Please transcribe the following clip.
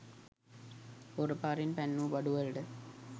හොර පාරේන් පැන්නූ බඩු වලට